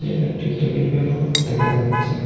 আর একটি টেবিল ব্যাগও দেখা যাচ্ছে।